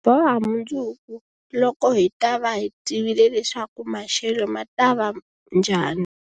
Hi ta boha mundzuku, loko hi ta va hi tivile leswaku maxelo ma ta va njhani?